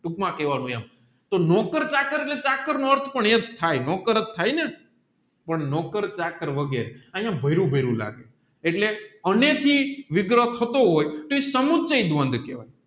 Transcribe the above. ટૂંકમાં કેવાનું એમ તોહ નોકર ચાકર નો અર્થ પણ એજ થાય નોકરા જ થાય ને પણ નોકર ચાકર અગેરે અહીંયા ભયરું ભયરું લાગે એલે વિગ્રહ થતો હોય